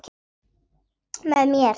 Með mér.